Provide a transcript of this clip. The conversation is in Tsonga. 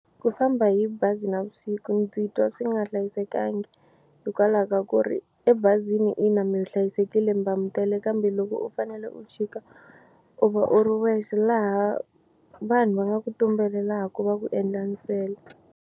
Ku famba hi bazi navusiku ndzi twa swi nga hlayisekangi hikwalaho ka ku ri ebazini ina mi hlayisekile mi va mi tele kambe loko u fanele u chika u va u ri wexe laha vanhu va nga ku tumbelelaku va ku endla nsele.